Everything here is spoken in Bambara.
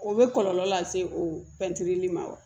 O bɛ kɔlɔlɔ lase o pɛntiri ma wa